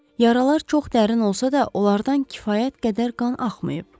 Yaralar çox dərin olsa da, onlardan kifayət qədər qan axmayıb.